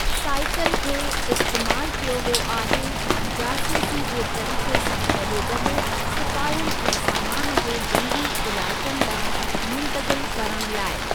Cycle खे इस्तेमालु कयो वियो आहे जासूसी जे तरीक़े सां गॾोगॾु सिपाहियनि ऐं सामान खे जंगी इलाइक़नि ॾांहुं मुंतक़िल करणु लाइ।